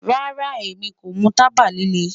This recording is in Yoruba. Rara, Emi ko mu taba lile